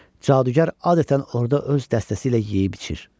Cadugar adətən orda öz dəstəsi ilə yeyib içir.